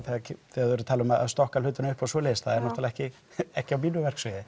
þegar er talað um að stokka hlutina upp og svoleiðis það náttúrulega ekki ekki á mínu verksviði